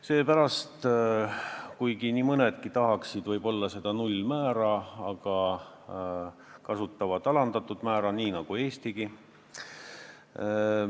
Samas kuigi nii mõnedki riigid tahaksid võib-olla samuti seda nullmäära, kasutavad paljud lihtsalt alandatud määra nii nagu Eestigi.